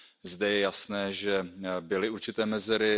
Zde je jasné, že byly určité mezery.